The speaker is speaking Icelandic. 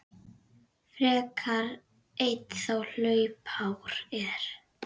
frekar einn þá hlaupár er.